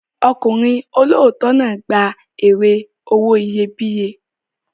Ọkùnrin olóòótọ́ náà gba èrè owó iyebíye.